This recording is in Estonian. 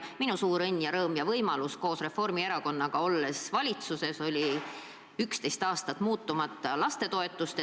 Minu suur õnn, rõõm ja võimalus oli koos Reformierakonnaga valitsuses olles tõsta 11 aastat muutumata püsinud lastetoetust.